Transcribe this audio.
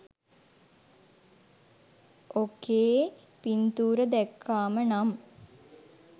ඔකේ පින්තුර දැක්කාම නම්